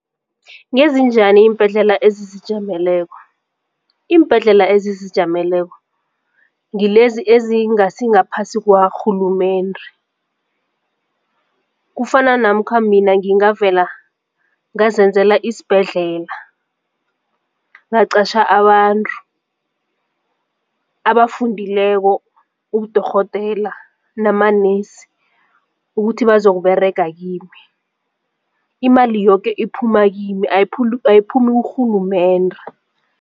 Ngezinjani iimbhedlela ezizijameleko? Iimbhedlela ezizijameleko ngilezi ezingasi ngaphasi kwarhulumende, kufana namkha mina ngingavela ngazenzela isibhedlela ngaqatjha abantu abafundileko ubudorhodera namanesi ukuthi bazokuberega kimi. Imali yoke iphuma kimi ayiphumi kurhulumende.